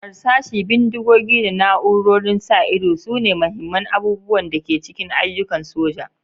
Harsashi, bindigogi, da na'urorin sa ido sune muhimman abubuwan da ke cikin ayyukan soja.